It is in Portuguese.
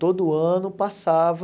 Todo ano passava...